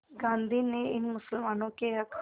गांधी ने इन मुसलमानों के हक़